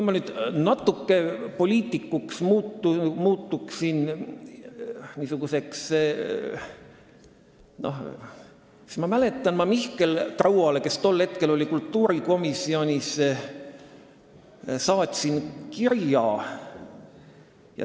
Ma mäletan, et ma saatsin siis kirja Mihkel Rauale, kes tol hetkel oli kultuurikomisjonis.